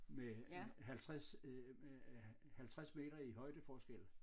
Med 50 øh med 50 meter i højdeforskel